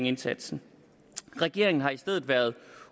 indsatsen regeringen har i stedet været